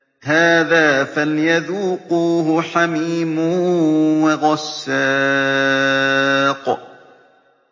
هَٰذَا فَلْيَذُوقُوهُ حَمِيمٌ وَغَسَّاقٌ